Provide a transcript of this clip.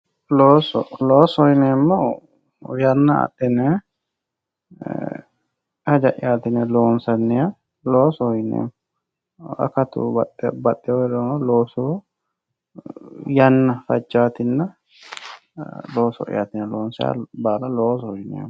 Looso, loosoho yineemmohu yanna adhine e'e hajja'yati yinne loonsanniha loosoho yineemmo akatu baxehu heerirono loosoho yanna fajjanotinna looso'yati yinne loonsanniha baalla loosoho yineemmo.